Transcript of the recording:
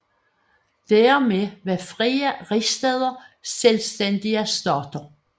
Dermed var frie rigsstæder selvstændige stater